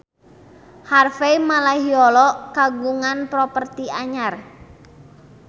Harvey Malaiholo kagungan properti anyar